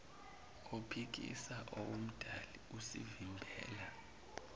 ophikisa owomdali usivimbela